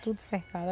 Tudo cercado.